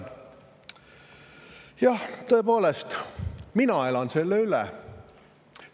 Jah, tõepoolest, mina elan selle üle.